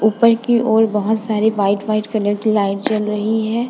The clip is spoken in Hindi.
उपर की और बहोत सारी वाइट वाइट कलर की लाइट जल रही है।